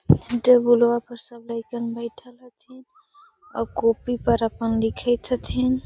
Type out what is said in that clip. टेबुलवा पर सब लइकन बइठल हथी और कॉपी पर अपन लिखित हथीन |